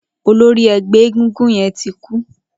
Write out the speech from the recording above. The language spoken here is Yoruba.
Ólóri ẹgbẹ égúngún yèn ti kú